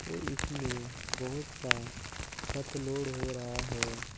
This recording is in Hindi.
और इसमें बहुत सा खत लोड हो रहा है।